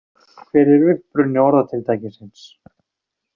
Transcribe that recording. Hver er uppruni orðatiltækisins?